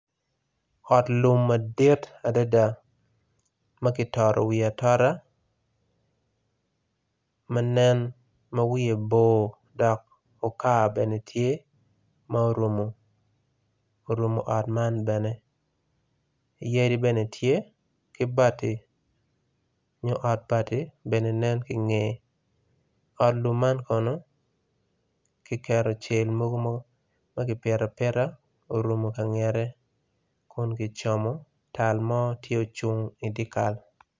Ot lum madit adada makitoro wiye atora manen ma wiye bor dok okar bene tye ma orumo ot man bene yadi bene tye ki bati nyo yo bati bene nen ki nge ot lum man kono kiketo cel mogo maki pito apita orumo kangete kun gicomo tal mo tye ocung idikal.